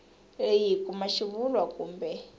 leyi hi kuma xivulwa kumbe